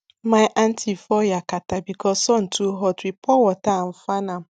my aunty fall yakata because sun too hot we pour water and fan am